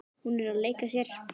Hún er að leika sér.